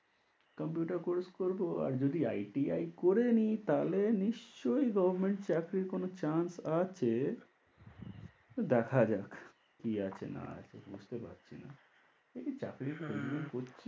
Compute course করবো আর যদি ITI করে নিই তাহলে নিশ্চয়ই government চাকরির কোনো chance আছে, দেখা যাক কি আছে না আছে বুঝতে পারছি না, এই চাকরি চাকরি করছি।